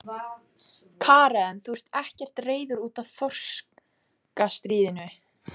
Karen: Þú ert ekkert reiður út af þorskastríðinu?